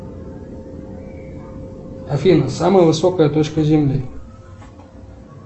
афина самая высокая точка земли